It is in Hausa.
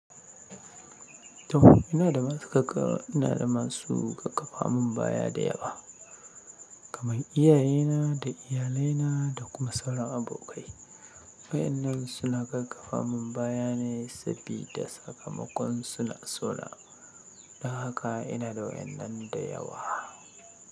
To ina da masu gaggafa mun baya da yawa, kamar iyayena da iyalaina da kuma sauran abokai. Wa'ennan suna gaggafa mun baya ne sabida sakamakon suna so na. Don haka ina da wa'ennan da yawa.